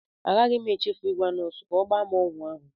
Agaghị m echefu ịgwa nọọsụ ka o gba m ọgwụ ahụ.